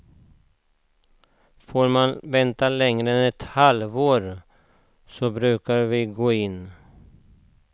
Får man vänta längre än ett halvår, så brukar vi gå in.